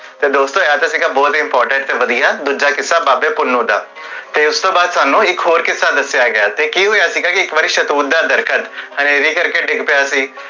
ਤੇ ਦੋਸਤੋ ਇਹ ਤੇ ਸੀਗਾ ਕਿੱਸਾ ਬੋਹੋਤ ਵਦੀਆ ਦੂਜਾ ਕਿੱਸਾ ਬਾਬੇ ਪੁੰਨੁ ਦਾ ਉਸ ਤੋਂ ਬਾਦ ਸਾਨੂ ਇਕ ਹੋਰ ਕਿੱਸਾ ਦਸਿਆ ਗਿਆ ਅਤੇ ਕੀ ਹੋਇਆ ਕੀ ਇਕ ਵਾਰ ਸ਼ੇਹਤੂਤ ਦਾ ਦਰਖਤ ਅਨੇਰੀ ਕਰ ਕੇ ਡਿੱਗ ਪਿਆ ਸੀ